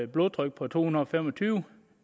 blodtryk på to hundrede og fem og tyve